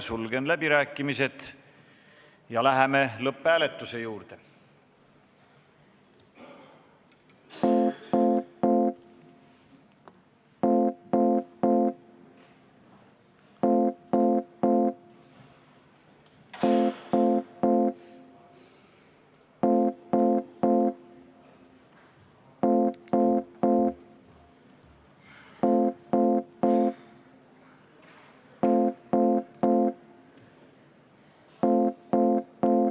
Sulgen läbirääkimised ja läheme lõpphääletuse juurde.